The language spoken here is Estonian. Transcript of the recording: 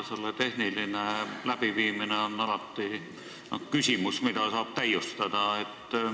Selle tehniline läbiviimine on selline küsimus, mida saab alati täiustada.